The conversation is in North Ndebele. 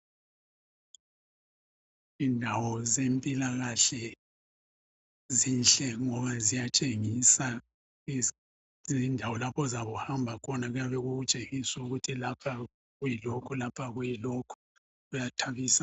Indawo zempilakahle zinhle ngoba ziyatshengisa izindawo lapho ozabuhamba khona kuyabe kukutshengisa ukuthi lapha kuyilokhu lapha kuyilokhu, kuyathabisa.